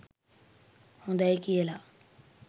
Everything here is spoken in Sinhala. හොඳයි කියලා